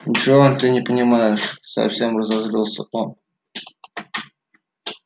ничего ты не понимаешь совсем разозлился он